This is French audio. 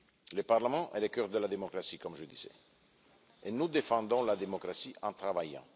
Le Parlement est le cœur de la démocratie, comme je le disais, et nous défendons la démocratie en travaillant.